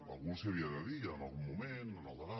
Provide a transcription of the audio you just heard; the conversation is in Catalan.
algú els les havia de dir en algun moment en el debat